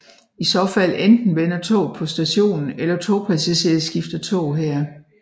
I så fald enten vender tog på stationen eller togpassagerer skifter tog her